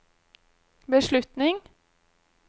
beslutning